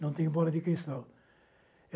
Não tenho bola de cristal.